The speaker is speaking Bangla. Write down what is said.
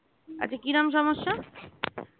আচ্ছা কিরকম সমস্যা?